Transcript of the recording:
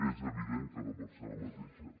és evident que no pot ser la mateixa